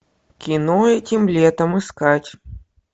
кино этим летом искать